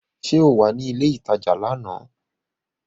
Ṣé o wà ní ilé ìtajà ní àná?